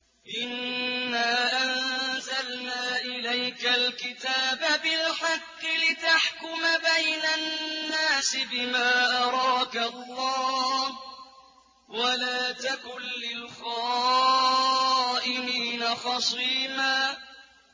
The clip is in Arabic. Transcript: إِنَّا أَنزَلْنَا إِلَيْكَ الْكِتَابَ بِالْحَقِّ لِتَحْكُمَ بَيْنَ النَّاسِ بِمَا أَرَاكَ اللَّهُ ۚ وَلَا تَكُن لِّلْخَائِنِينَ خَصِيمًا